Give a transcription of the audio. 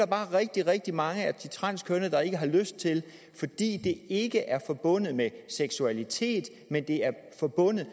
bare rigtig rigtig mange af de transkønnede der ikke har lyst til fordi det ikke er forbundet med seksualitet men det er forbundet